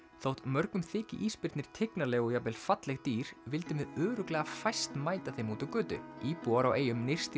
þótt mörgum þyki ísbirnir tignarleg og jafnvel falleg dýr vildum við örugglega fæst mæta þeim úti á götu íbúar á eyjum nyrst í